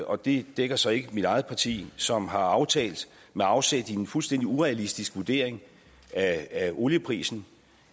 og det dækker så ikke mit eget parti som har aftalt med afsæt i en fuldstændig urealistisk vurdering af olieprisen